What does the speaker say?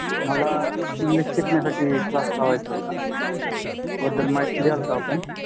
मला english शिकन्यासठी class लावायचा होता